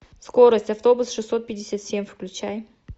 скорость автобус шестьсот пятьдесят семь включай